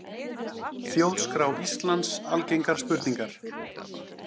Þjóðskrá Íslands Algengar spurningar.